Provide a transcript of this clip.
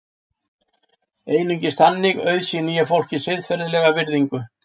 einungis þannig auðsýni ég fólki siðferðilega virðingu